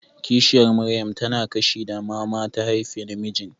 Kishiyar Maryam tana kishi da mama ta haifa namijin.